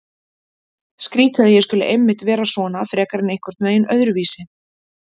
Skrýtið að ég skuli einmitt vera svona frekar en einhvern veginn öðruvísi.